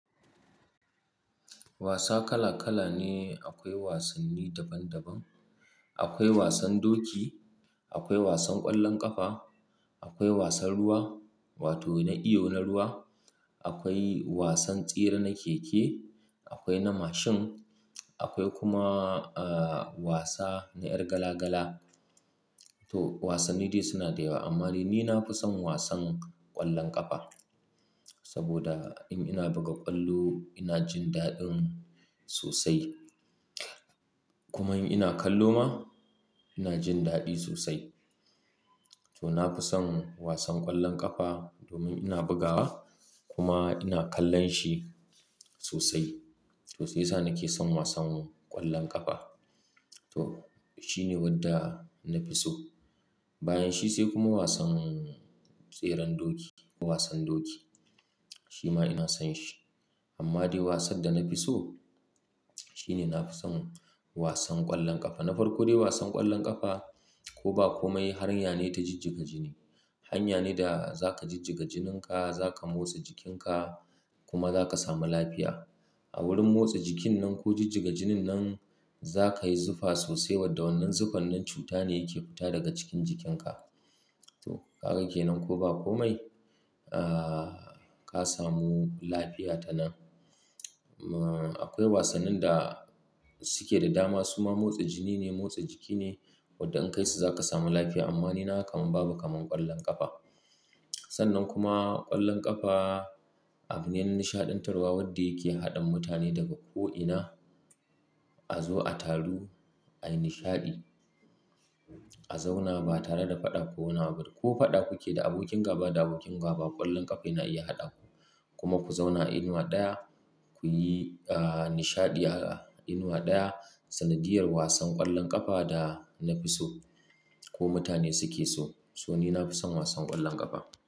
Wasa kala kala ne, akwai wasanni daban daban. Akwai wasan doki, akwai wasan ƙwallon ƙafa, akwai wasan ruwa, wato na iyo na ruwa, akwai wasan tsere na keke, akwai na mashin, akwai kuma, ah, wasa na ƴar gala gala. To wasanni dai suna da yawa amma ni na fi son wasan ƙwallon ƙafa saboda in ina buga ƙwallo ina jin daɗin sosai. Kuma in ina kallo ma ina jin daɗi sosai. To na fi son wasan ƙwallon ƙafa domin ina bugawa kuma ina kallon shi sosai. Sosai to shiyasa nake son wasan ƙwallon ƙafa. To shine wanda na fi so. Bayan shi sai kuma wasan tseren doki ko wasan doki. Shi ma ina son shi. Amma dai wasan da na fi so shine na fi son wasan ƙwallon ƙafa. Na farko dai wasan ƙwallon ƙafa ko ba komai haranya ne ta jijjiga jini. Hanya ne da za ka jijjiga jinin ka, za ka motsa jikin ka kuma za ka samu lafiya. A wurin motsa jikin nan ko jijjiga jinin nan za ka yi zufa sosai wadda wannan zufannin cuta ne yake fita daga cikin jikin ka. To ka ga kenan ko ba komai, ah, ka samu lafiya ta nan. Am, akwai wasannin da suke da dama suma motsa jini ne, motsa jiki ne wadda in ka yi su za ka samu lafiya amma ni na kamun babu kaman ƙwallon ƙafa. Sannan kuma ƙwallon ƙafa abin yan nishaɗantarwa wadda yake haɗa mutane daga ko ina a zo a taru, a yi nishaɗi, a zauna ba tare da faɗa ko wani abu ba. Ko faɗa kuke da abokin gaba da abokin gaba, ƙwallon ƙafa yana iya haɗa ku kuma ku zauna a inuwa ɗaya, ku yi, ah, nishaɗi a inuwa ɗaya. Sanadiyar wasan ƙwallon ƙafa da na fi so ko mutane suke so. To ni na fi son wasan ƙwallon ƙafa.